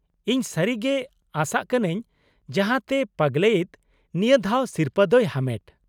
ᱤᱧ ᱥᱟᱹᱨᱤ ᱜᱮ ᱟᱥᱟᱜ ᱠᱟᱱᱟᱹᱧ ᱡᱟᱦᱟᱸᱛᱮ ᱯᱟᱜᱞᱮᱭᱤᱛ ᱱᱤᱭᱟ. ᱫᱷᱟᱣ ᱥᱤᱨᱯᱟ. ᱫᱚᱭ ᱦᱟᱢᱮᱴ ᱾